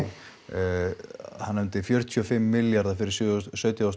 hann nefndi fjörutíu og fimm milljarða fyrir sautján þúsund